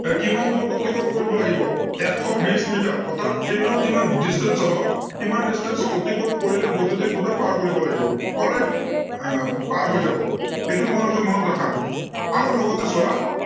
এৰ কিমান দূৰত্ব অতিক্ৰম কৰিব লাগিব, এশ বিশ মিটাৰ। অৰ্থাত train ৰ যিমান distance হব, সিমান distance অতিক্ৰম কৰিলে বৈদ্য়ুতিক খুটা পাৰ কৰিব লাগিব, alright এৰ পাৰ হৈ যাব, এইটো তোমালোকে মনত ৰাখা, আৰু লগতে চোৱা